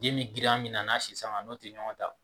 Den mi girinya min na n'a sisanga n'o ti ɲɔgɔn ta.